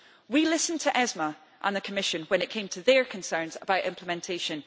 We listened to ESME and the Commission when it came to their concerns about implementation